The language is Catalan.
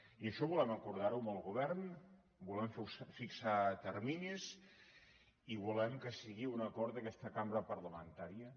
i això volem acordar ho amb el govern volem fixar terminis i volem que sigui un acord d’aquesta cambra parlamentària